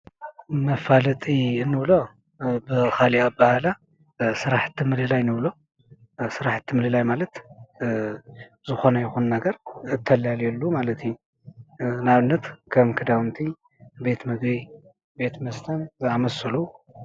መፋለጢእንብሎ ብካሊእ ኣባሃህላ ስራሕቲ ምልላይ ንብሎ ስራሕቲ ምልላይ ማለት ዝኮነ ይኩን ነገር እተላልየሉ ማለት እዩ፡፡ ንኣብነት ከም ክዳውንቲ፣ ቤት ምግቢ ቤት መስተን ዝኣምሰሉ ።